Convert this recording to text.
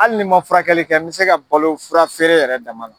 Ali ni ma furakɛli kɛ n bɛ se ka balo furafeere yɛrɛ dama la.